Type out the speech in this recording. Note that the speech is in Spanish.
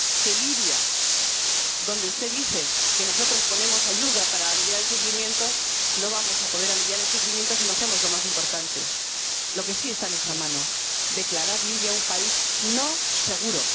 En Libia ―donde usted dice que nosotros ponemos ayuda para aliviar el sufrimiento―, no vamos a poder aliviar el sufrimiento si no hacemos lo más importante, lo que sí está en nuestra mano, declarar Libia un país no seguro.